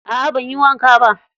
A'a banyi wanka ba.